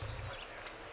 Yox, bu qədər.